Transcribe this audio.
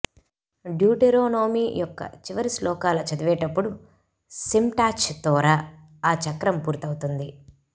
Deuteronomy యొక్క చివరి శ్లోకాల చదివేటప్పుడు సిమ్చాట్ తోరా ఆ చక్రం పూర్తవుతుంది